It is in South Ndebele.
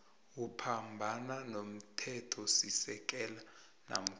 uphambana nomthethosisekelo namkha